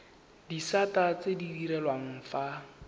disata tse di direlwang fa